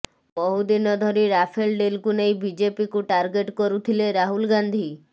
ବହୁଦିନ ଧରି ରାଫେଲ ଡିଲ୍କୁ ନେଇ ବିଜେପିକୁ ଟାର୍ଗେଟ କରୁଥିଲେ ରାହୁଲ ଗାନ୍ଧି